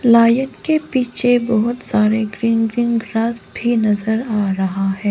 Lion के पीछे बहोत सारे ग्रीन ग्रीन ग्रास भी नजर आ रहा है।